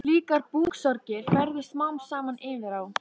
Slíkar búksorgir færðust smám saman yfir á